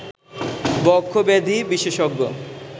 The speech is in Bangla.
বক্ষব্যাধি বিশেষজ্ঞ